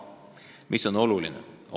Mis on aga oluline?